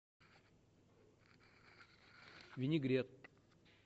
винегрет